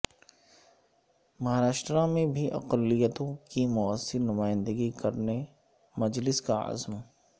مہارشٹرا میں بھی اقلیتوں کی موثر نمائندگی کرنے مجلس کا عزم